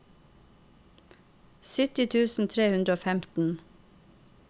sytti tusen tre hundre og femten